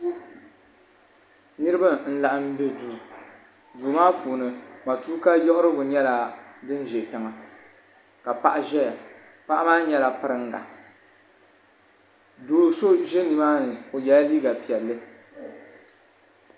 niriba n-laɣim be duu duu maa puuni matuuka yiɣirigu nyɛla din ʒe tiŋa ka paɣa ʒeya paɣa maa nyɛla piringa doo so ʒe nima ni o yela liiga piɛlli.